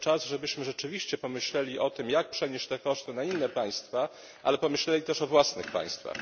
Może czas, żebyśmy rzeczywiście pomyśleli o tym, jak przenieść te koszty na inne państwa, ale pomyśleli też o własnych państwach.